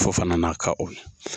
Fofana na ka o.